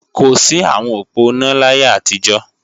kò sí àwọn òponá láyé àtijó